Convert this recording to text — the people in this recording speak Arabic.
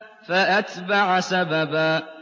فَأَتْبَعَ سَبَبًا